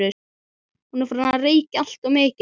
Hún er farin að reykja alltof mikið.